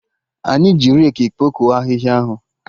Anyị ji reki kpokọ ahịhịa ahụ